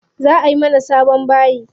Za ayi mana sabon bayi.